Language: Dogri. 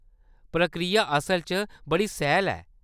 प्रक्रिया असल च बड़ी सैह्‌ल ऐ।